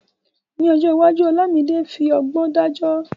Lọ́jọ́ iwájú, Olamide fi ọgbọ́n dájọ́.